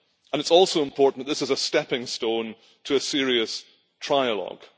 It is also important that this is a stepping stone to a serious trilogue.